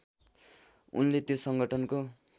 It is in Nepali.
उनले त्यो सङ्गठनको